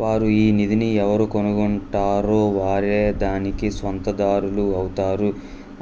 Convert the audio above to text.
వారు ఈ నిధిని ఎవరు కనుగొంటారో వారే దానికి స్వంతదారులు ఔతారు